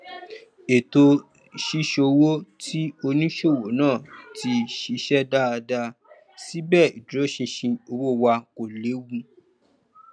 ètò ṣíṣòwò ti onísòwò náà ti ṣiṣẹ dáadáa síbẹ ìdúróṣinṣin owó wà kò lewu